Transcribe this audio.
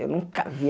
Eu nunca vi.